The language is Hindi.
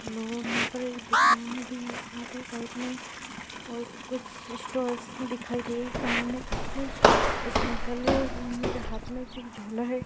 ये रोड दिख रही एक दुकान भी है साइड में कुछ स्टोर्स दिखाई दे सामने कुछ एक अंकल है उनके के हाथ में एक झोला है।